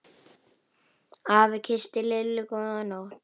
Afi kyssti Lillu góða nótt.